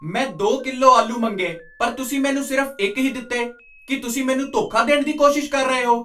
ਮੈਂ ਦੋ ਕਿਲੋ ਆਲੂ ਮੰਗੇ ਪਰ ਤੁਸੀਂ ਮੈਨੂੰ ਸਿਰਫ਼ ਇੱਕ ਹੀ ਦਿੱਤੇ! ਕੀ ਤੁਸੀਂ ਮੈਨੂੰ ਧੋਖਾ ਦੇਣ ਦੀ ਕੋਸ਼ਿਸ਼ ਕਰ ਰਹੇ ਹੋ?